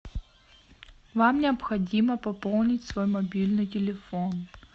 вам необходимо пополнить свой мобильный телефон